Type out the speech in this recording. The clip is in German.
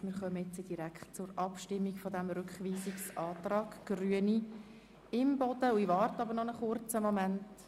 Somit kommen wir direkt zur Abstimmung über den Rückweisungsantrag der Grünen von Grossrätin Imboden.